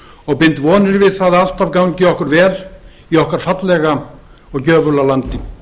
og bind vonir við það að alltaf gangi okkur vel í okkar fallega og gjöfula landi